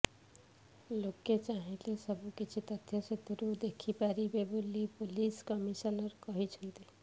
ଲୋକେ ଚାହିଁଲେ ସବୁକିଛି ତଥ୍ୟ ସେଥିରୁ ଦେଖିପାରିବେ ବୋଲି ପୋଲିସ କମିଶନର କହିଛନ୍ତି